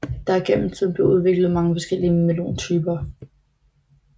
Der er gennem tiden blevet udviklet mange forskellge melontyper